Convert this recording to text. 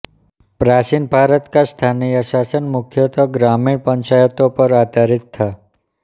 प्राचीन भारत का स्थानीय शासन मुख्यत ग्रामीण पंचायतों पर आधारित था